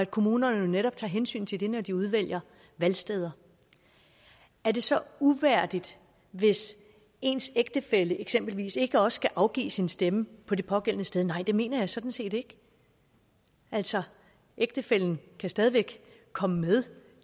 kommunerne tager hensyn til det når de udvælger valgsteder er det så uværdigt hvis ens ægtefælle eksempelvis ikke også skal afgive sin stemme på det pågældende sted nej det mener jeg sådan set ikke altså ægtefællen kan stadig væk komme med